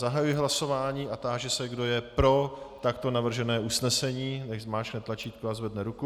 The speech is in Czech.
Zahajuji hlasování a táži se, kdo je pro takto navržené usnesení, nechť zmáčkne tlačítko a zvedne ruku.